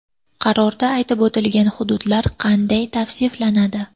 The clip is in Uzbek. Qarorda aytib o‘tilgan hududlar qanday tavsiflanadi?